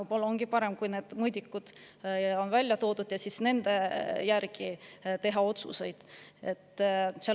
Võib-olla ongi parem, kui need mõõdikud on välja toodud ja nende järgi otsuseid tehakse.